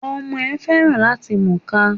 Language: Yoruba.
Ọmọ ẹ̀ féràn làti múka.